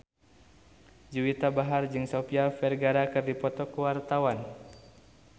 Juwita Bahar jeung Sofia Vergara keur dipoto ku wartawan